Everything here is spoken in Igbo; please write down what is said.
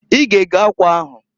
I ga ego akwa ahuǃ